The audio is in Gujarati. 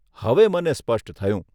હવે મને સ્પષ્ટ થયું.